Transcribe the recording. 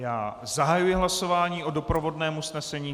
Já zahajuji hlasování o doprovodném usnesení.